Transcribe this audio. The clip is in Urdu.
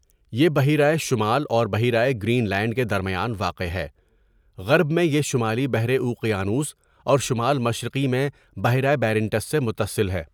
یہ بحیرہ شمال اور بحیرہ گرین لینڈ کے درمیان واقع ہےغرب میں یہ شمالی بحر اوقیانوس اور شمال مشرقی میں بحیرہ بیرنٹس سے متصل ہے.